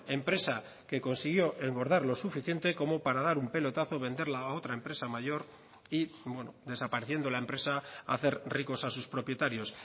empresa que consiguió engordar lo suficiente como para dar un pelotazo venderla a otra empresa mayor y desapareciendo la empresa hacer ricos a sus propietarios